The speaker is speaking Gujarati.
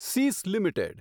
સીસ લિમિટેડ